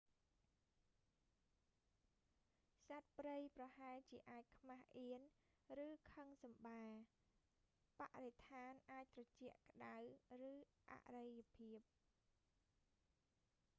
សត្វព្រៃប្រហែលជាអាចខ្មាសអៀន ឬខឹងសម្បា បរិស្ថានអាចត្រជាក់ ក្តៅ ឬអរិភាព